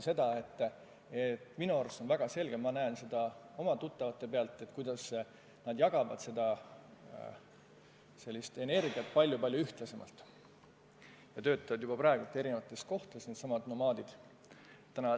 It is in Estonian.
Minu arust on väga selge, ma näen seda oma tuttavate pealt, kuidas nad jagavad oma energiat palju-palju ühtlasemalt ja töötavad juba praegu erinevates kohtades – needsamad nomaadid.